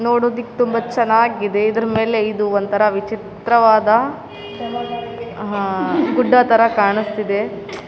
ನೋಡೋದಿಕ್ಕ್ ತುಂಬಾ ಚೆನಾಗಿದೆ. ಇದ್ರ ಮೇಲೆ ಇದು ಒಂತರ ವಿಚಿತ್ರವಾದ ಅಹ್ ಗುಡ್ಡದ್ ತರ ಕಾಣಿಸ್ತಿದೆ .